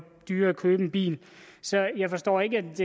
dyrere at købe en bil så jeg forstår ikke